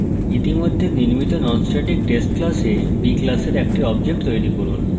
ইতিমধ্যে নির্মিত nonstatictest class b class একটি object তৈরী করুন